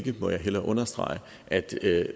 jeg må hellere understrege at det